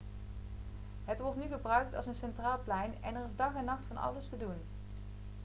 het wordt nu gebruikt als een centraal plein en er is dag en nacht van alles te doen